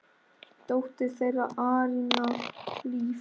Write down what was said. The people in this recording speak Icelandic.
Dóttir þeirra: Aríanna Líf.